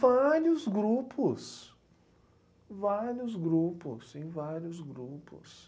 Vários grupos, vários grupos, sim, vários grupos.